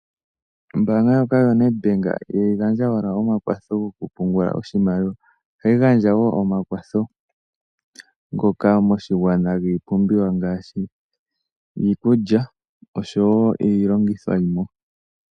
Ombaanga ndjoka yoNedBank ihayi gandja owala omakwatho goku pungula oshimaliwa, ohayi gandja wo omakwatho ngoka moshigwana giipumbiwa ngaashi iikulya osho wo iilongitho yimwe.